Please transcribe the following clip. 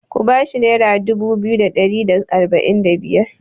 Ku ba shi naira dubu biyu da ari da arba'in da biyar!